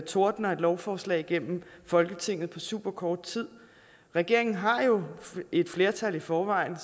tordner et lovforslag igennem folketinget på superkort tid regeringen har jo et flertal i forvejen